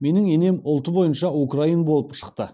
менің енем ұлты бойынша украин болып шықты